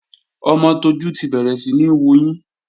Ọmọ Tójú ti bẹ̀rẹ̀ síní wuyín